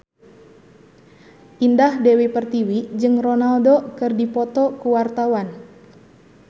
Indah Dewi Pertiwi jeung Ronaldo keur dipoto ku wartawan